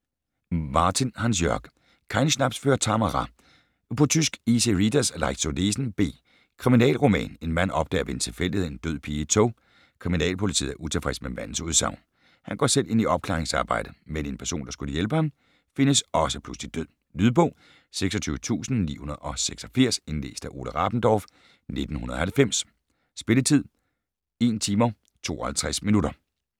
Martin, Hansjörg: Kein Schnaps für Tamara På tysk. Easy readers; Leicht zu lesen. B. Kriminalroman. En mand opdager ved en tilfældighed en død pige i et tog. Kriminalpolitiet er utilfreds med mandens udsagn. Han går selv ind i opklaringsarbejdet; men en person, der skulle hjælpe ham, findes også pludselig død. Lydbog 26986 Indlæst af Ole Rabendorf, 1990. Spilletid: 1 timer, 52 minutter.